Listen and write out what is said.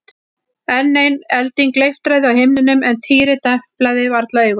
Enn ein elding leiftraði á himninum en Týri deplaði varla augunum.